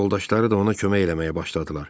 Yoldaşları da ona kömək eləməyə başladılar.